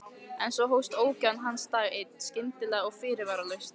En svo hófst ógæfa hans dag einn, skyndilega og fyrirvaralaust.